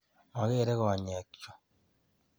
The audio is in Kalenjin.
Magere konyekchu.